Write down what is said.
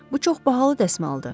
Bu çox bahalı dəsmaldır.